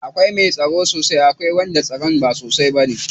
Akwai mai tsaro sosai akwai kuma wanda tsaron ba sosai bane.